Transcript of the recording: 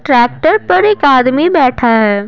Tractor पर एक आदमी बैठा है।